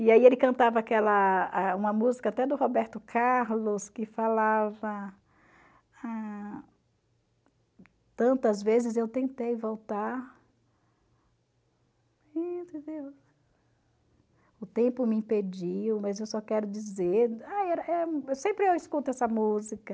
E aí ele cantava aquela, a uma música até do Roberto Carlos, que falava, tantas vezes eu tentei voltar o tempo me impediu, mas eu só quero dizer, sempre eu escuto essa música.